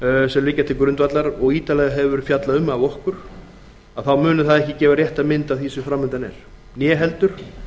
liggja til grundvallar og við höfum fjallað um ítarlega muni þau ekki gefa rétta mynd af því sem fram undan er né heldur